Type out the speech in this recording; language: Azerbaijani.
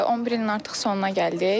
11 ilin artıq sonuna gəldik.